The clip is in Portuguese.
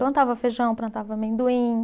Plantava feijão, plantava amendoim.